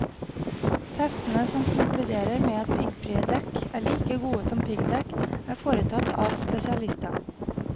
Testene som konkluderer med at piggfrie dekk er like gode som piggdekk, er foretatt av spesialister.